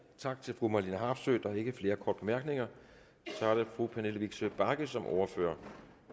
tak til fru marlene harpsøe der er ikke flere korte bemærkninger så er det fru pernille vigsø bagge som ordfører